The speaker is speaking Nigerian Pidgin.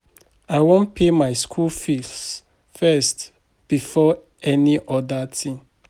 I wan pay my pikin school fees first before any other thing